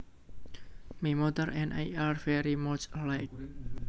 My mother and I are very much alike